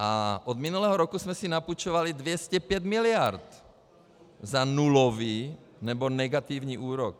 A od minulého roku jsme si napůjčovali 205 mld. za nulový nebo negativní úrok.